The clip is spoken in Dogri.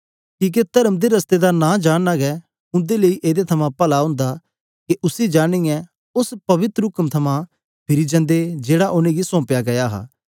कीहके तर्म दे रस्अते दा नां जानना हे उन्दे लेई एदे कन्ने पला होंदा कि उसै जानियै ओस पवित्र उक्म कन्ने फिर जांदे जेकी उनेगी सौंपी गेई हे